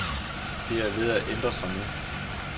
Det er ved at ændre sig nu.